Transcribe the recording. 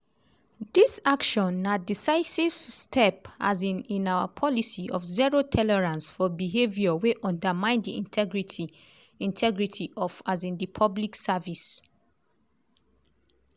"dis action na decisive step um in our policy of zero tolerance for behaviour wey undermine di integrity integrity of um di public service."